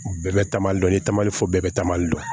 Bɛɛ bɛ taamali dɔ ye taamali fɔ bɛɛ bɛ taamali dɔn